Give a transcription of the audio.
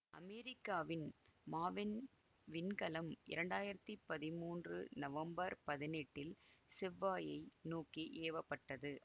அமெரிக்காவின் மாவென் விண்கலம் இரண்டாயிரத்தி பதிமூன்று நவம்பர் பதினெட்டில் செவ்வாயை நோக்கி ஏவ பட்டது